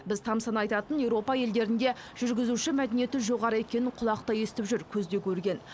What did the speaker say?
біз тамсана айтатын еуропа елдерінде жүргізуші мәдениеті жоғары екенін құлақ та естіп жүр көз де көрген